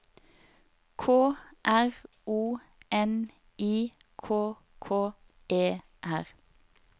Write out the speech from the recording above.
K R O N I K K E R